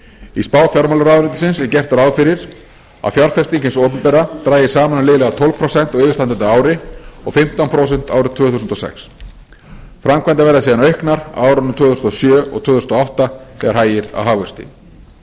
í spá fjármálaráðuneytisins er gert ráð fyrir að fjárfesting hins opinbera dragist saman um liðlega tólf prósent á yfirstandandi ári og fimmtán prósent árið tvö þúsund og sex framkvæmdir verða síðan auknar á árunum tvö þúsund og sjö og tvö þúsund og átta þegar hægir á hagvexti